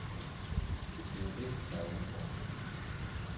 Det er det, der er udfordringen.